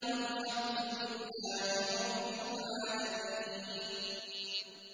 وَالْحَمْدُ لِلَّهِ رَبِّ الْعَالَمِينَ